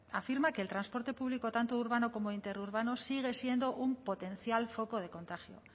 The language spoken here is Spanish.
afirma que el transporte público tanto urbano como interurbano sigue siendo un potencial foco de contagio